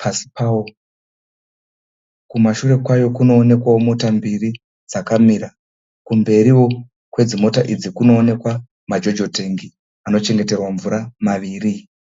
pasi pawo. Kumashure kwayo kunoonekwawo mota mbiri dzakamira. Kumberiwo kwedzimota idzi kunoonekwa mojojo tengi anochengeterwa mvura maviri.